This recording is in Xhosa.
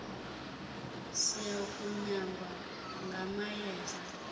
siya kunyangwa ngamayeza